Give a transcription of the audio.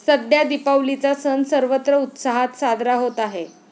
सध्या दीपावलीचा सण सर्वत्र उत्साहात साजरा होत आहे.